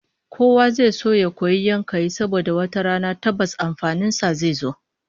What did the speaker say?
Kowa zai so ya koyi yankayi saboda wata rana tabbas amfanin sa zai zo